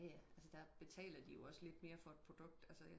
Jaja altså der betaler de jo også lidt mere for et produkt altså